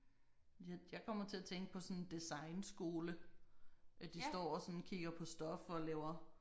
Jeg kommer til at tænke på sådan en designskole. At de står og sådan kigger på stof og laver